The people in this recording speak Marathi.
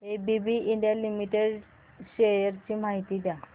एबीबी इंडिया लिमिटेड शेअर्स ची माहिती द्या